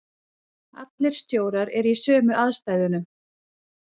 Allir stjórar eru í sömu aðstæðunum.